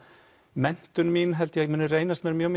menntun mín muni reynast mér mjög